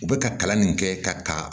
U bɛ ka kalan nin kɛ ka taa